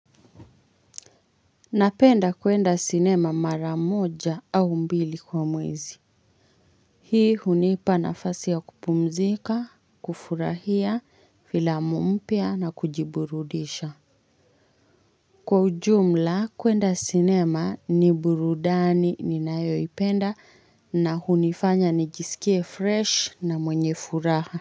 Napenda kwenda sinema mara moja au mbili kwa mwezi Hii hunipa nafasi ya kupumzika, kufurahia, filamu mpya na kujiburudisha. Kwa ujumla kwenda sinema ni burudani ninayoipenda na hunifanya nijisikie fresh na mwenye furaha.